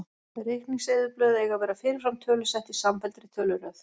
Reikningseyðublöð eiga að vera fyrirfram tölusett í samfelldri töluröð.